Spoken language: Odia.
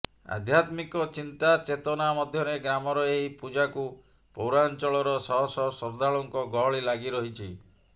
ଆଧ୍ୟାତ୍ମିକ ଚିନ୍ତା ଚେତନା ମଧ୍ୟରେ ଗ୍ରାମର ଏହି ପୂଜାକୁ ପୌରାଞ୍ଚଳର ଶହ ଶହ ଶ୍ରଦ୍ଧାଳୁଙ୍କ ଗହଳି ଲାଗି ରହିଛି